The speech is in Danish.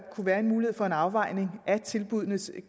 være mulighed for en afvejning af tilbuddenes